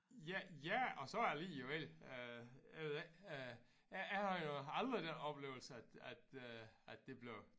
Ja ja og så alligevel øh jeg ved ikke øh jeg jeghavde jo aldrig den oplevelse at at øh at det blev